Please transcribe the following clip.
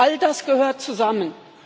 all das gehört zusammen.